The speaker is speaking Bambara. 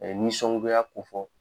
nisɔngoya kofɔ